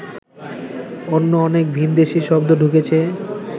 অন্য অনেক ভিনদেশি শব্দ ঢুকেছে